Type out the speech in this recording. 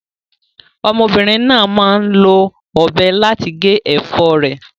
Ọmọbìnrin náà máa ń lo ọ̀bẹ láti gé ẹ̀fọ́ rẹ̀.